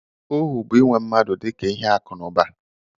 Ohu bụ inwe mmadụ dị ka ihe akụ na ụba